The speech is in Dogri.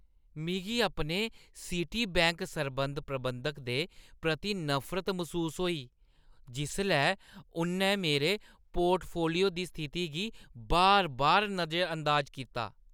मिगी अपने सिटी बैंक सरबंध प्रबंधक दे प्रति नफरत मसूस होई जिसलै उʼन्नै मेरे पोर्टफोलियो दी स्थिति गी बार-बार नजरअंदाज कीता।